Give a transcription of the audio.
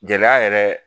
Gɛlɛya yɛrɛ